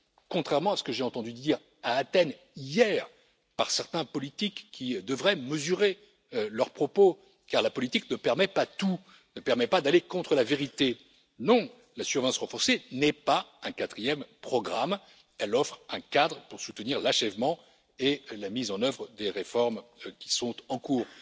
Contrairement à ce que j'ai entendu dire à Athènes, hier, par certains politiques, qui devraient mesurer leurs propos car la politique ne permet pas tout, ne permet pas d'aller contre la vérité non, la surveillance renforcée n'est pas un quatrième programme, elle offre un cadre pour soutenir l'achèvement et la mise en œuvre des réformes qui sont en cours.